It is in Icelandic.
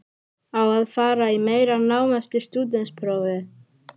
Á að fara í meira nám eftir stúdentsprófið?